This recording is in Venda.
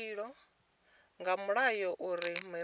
nga mulayo uri muraḓo a